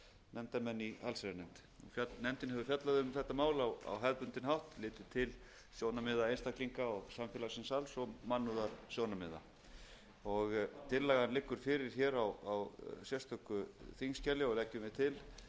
nefndarmenn í allsherjarnefnd nefndin hefur fjallað um þetta mál á hefðbundinn hátt litið til sjónarmiða einstaklinga og samfélagsins alls og mannúðarsjónarmiða tillagan liggur fyrir á sérstöku þingskjali og leggjum við til